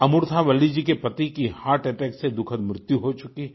अमूर्था वल्ली जी के पति की हर्ट अटैक से दुखद मृत्यु हो चुकी है